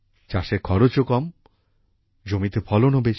চাষের খরচও কম জমিতে ফলনও বেশি